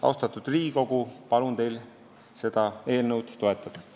Austatud Riigikogu, palun teil seda eelnõu toetada!